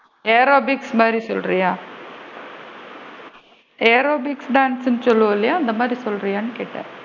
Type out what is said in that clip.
Aerobics மாதிரி சொல்றியா? aerobics dance சுன்னு சொல்லுவோம் இல்லையா அந்த மாதிரி சொல்றியான்னு கேட்டேன்?